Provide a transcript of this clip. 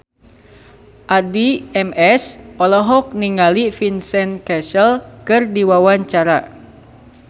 Addie MS olohok ningali Vincent Cassel keur diwawancara